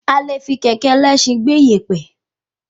A le fi kẹ̀kẹ́ ẹlẹsin gbé ìyèpẹ̀